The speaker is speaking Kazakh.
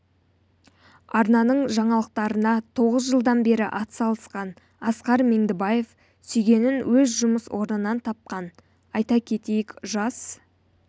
арнаның жаңалықтарына тоғыз жылдан бері атсалысқан асқар меңдібаев сүйгенін өз жұмыс орнынан тапқан айта кетейік жас